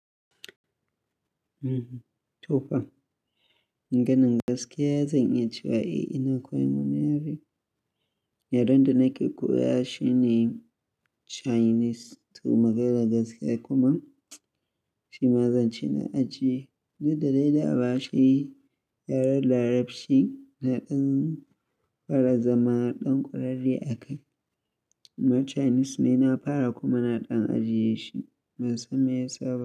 Mm-hmm, tofa. Maganan gaskiya zan iya cewa ina koyan wani yare. Yare da nake koyashi ne Chinese, to maganar gaskiya kuma shi ma zan ci na ajiye. Dan da dai da abashi, yaren larabci na ɗan ƙara zama ɗan ƙwararre a kai. Chinese nai na fara kuma na ɗan ajiye shi. Ban san me yasa ba.